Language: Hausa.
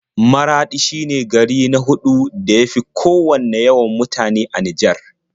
Maraɗi shine gari na huɗu da ya fi kowanne yawan mutane a Nijar.